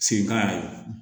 Seginkan yɛrɛ